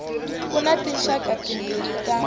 ku na tinxaka timbirhi ta